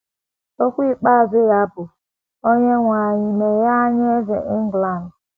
Okwu ikpeazụ ya bụ: “ Onyenwe anyị, meghee anya Eze England! ”